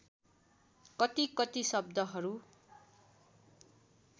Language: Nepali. कति कति शब्दहरू